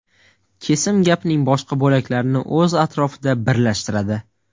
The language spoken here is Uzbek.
Kesim gapning boshqa bo‘laklarini o‘z atrofida birlashtiradi.